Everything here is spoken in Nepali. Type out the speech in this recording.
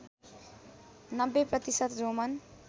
९० प्रतिशत रोमन